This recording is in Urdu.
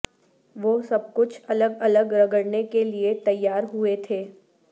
وہ سب کچھ الگ الگ رگڑنے کے لئے تیار ہوئے تھے